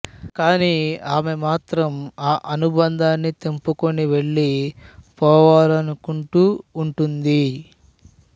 కాని ఆమె మాత్రం ఆ అనుబంధాన్ని తెంపుకుని వెళ్ళిపోవాలనకుంటూ వుంటుంది